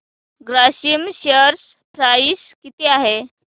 Grasim share price किती आहे